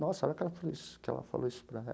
Nossa, hora que ela falou que ela falou isso para